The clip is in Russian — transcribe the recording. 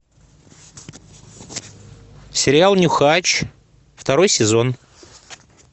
сериал нюхач второй сезон